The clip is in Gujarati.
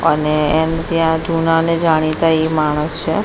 અને એને ત્યાં જૂનાને જાણીતા એ માણસ છે.